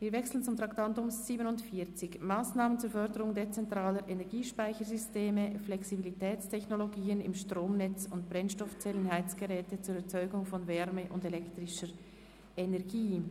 Wirwechseln zum Traktandum 47, «Massnahmen zur Förderung dezentraler Energiespeichersysteme, Flexibilitätstechnologien im Stromnetz und Brennstoffzellen-Heizgeräte zur Erzeugung von Wärme und elektrischer Energie».